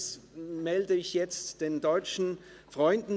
Das melde ich nun den deutschen Freunden: